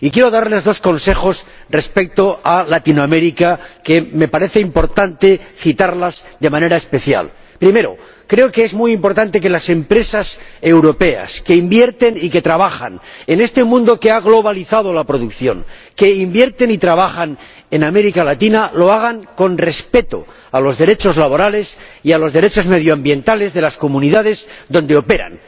Y quiero darles dos consejos respecto a América Latina que me parece importante citar de manera especial. Primero, creo que es muy importante que las empresas europeas que invierten y que trabajan en este mundo que ha globalizado la producción, que invierten y trabajan en América Latina, lo hagan respetando los derechos laborales y los derechos medioambientales de las comunidades donde operan.